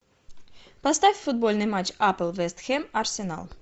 поставь футбольный матч апл вест хэм арсенал